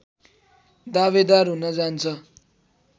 दावेदार हुन जान्छ